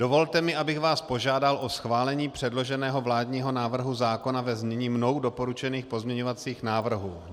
Dovolte mi, abych vás požádal o schválení předloženého vládního návrhu zákona ve znění mnou doporučených pozměňovacích návrhů.